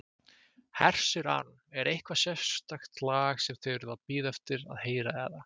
Hersir Aron: Er eitthvað sérstakt lag sem þið eruð að bíða eftir að heyra eða?